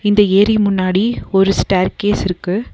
இந்த ஏரி முன்னாடி ஒரு ஸ்டேர்கேஸ் இருக்கு.